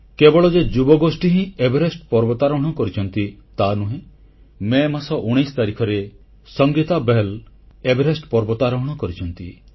କେବଳ ଯେ ଯୁବଗୋଷ୍ଠୀ ହିଁ ଏଭେରେଷ୍ଟ ପର୍ବତାରୋହଣ କରିଛନ୍ତି ତାହା ନୁହେଁ ମଇ 19 ତାରିଖରେ ସଙ୍ଗୀତା ବହଲ୍ ଏଭେରେଷ୍ଟ ପର୍ବତାରୋହଣ କରିଛନ୍ତି